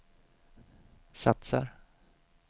satsar